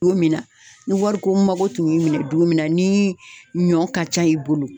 Don min na, ni wariko mago tun y'i minɛ don min na, ni ɲɔ ka ca i bolo.